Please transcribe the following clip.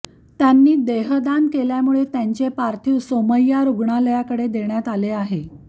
त्यांनी देहदान केल्यामुळे त्यांचे पार्थिव सोमय्या रुग्णालयाकडे देण्यात आले आहे